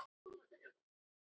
Þetta er konan mín.